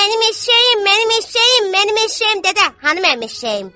Mənim eşşəyim, mənim eşşəyim, mənim eşşəyim, dədə, hanı mənim eşşəyim?